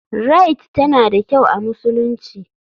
Rite tana da kyau a musulunci.